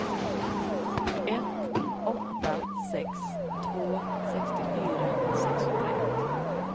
ett åtta sex två sextiofyra sexhundraett